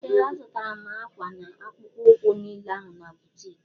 Ee azutara m akwa na akpụkpọ ukwu niile ahụ n' boutiki.